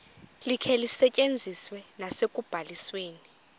likhe lisetyenziswe nasekubalisweni